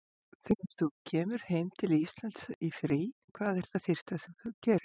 Þegar þú kemur heim til Íslands í frí, hvað er það fyrsta sem þú gerir?